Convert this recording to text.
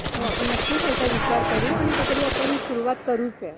आपण नक्कीच याचा विचार करू आणि कायतरी आपण सुरुवात करूच या.